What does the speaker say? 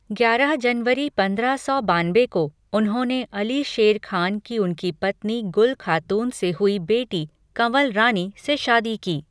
ग्यारह जनवरी पंद्रह सौ बानबे को, उन्होंने अली शेर खान की उनकी पत्नी गुल खातून से हुई बेटी, कँवल रानी, से शादी की।